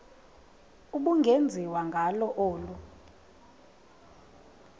ubungenziwa ngalo olu